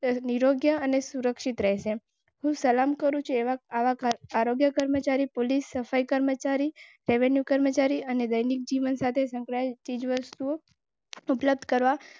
નિરોગી અને સુરક્ષિત રહે. આરોગ્ય કર્મચારી પોલીસ સફાઈ કર્મચારી રેવન્યૂ કર્મચારી અને દૈનિક જીવન સાથે સંકળાય.